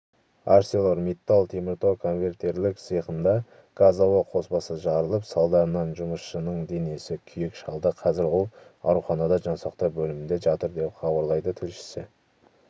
арселормиттал теміртау конвертерлік цехында газ-ауа қоспасы жарылып салдарынан жұмысшының денесін күйік шалды қазір ол ауруханада жансақтау бөлімінде жатыр деп хабарлайды тілшісі